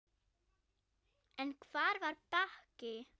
En hvar var Bakki?